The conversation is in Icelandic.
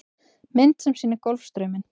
Mynd sem sýnir Golfstrauminn.